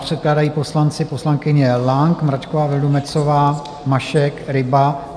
Předkládají poslanci, poslankyně Lang, Mračková Vildumetzová, Mašek, Ryba.